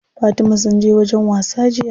Fatima sun je wajen wasa jiya.